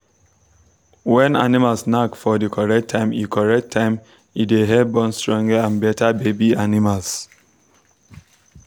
when animals knack for the correct time e correct time e dey help born stronge and better baby animals.